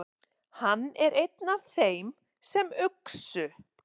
Hann er einn af þeim sem uxu.